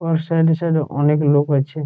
উয়ার সাইড -এ সাইড -এ অনেক লোক আছে ।